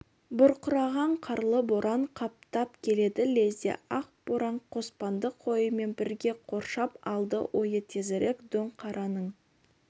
бұрқыраған қарлы боран қаптап келеді лезде ақ боран қоспанды қойымен бірге қоршап алды ойы тезірек дөңқараның